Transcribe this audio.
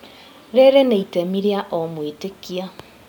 Rĩrĩ nĩ itemi rĩa o mwĩtĩkia